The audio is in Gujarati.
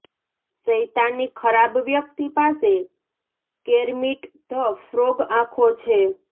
શૈતાની ખરાબ વ્યક્તિ પાસે કેર્મિટ ધ ફ્રોગ આંખો છે